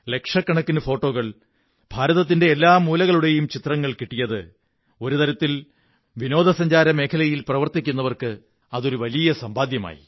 ലക്ഷക്കണക്കിനു ഫോട്ടോകൾ ഭാരത്തിന്റെ എല്ലാ മൂലകളുടെയും ചിത്രങ്ങൾ കിട്ടിയത് ഒരു തരത്തിൽ വിനോദസഞ്ചാര മേഖലയിൽ പ്രവര്ത്തിംക്കുന്നവര്ക്ക്ാ അതൊരു വലിയ സമ്പാദ്യമായി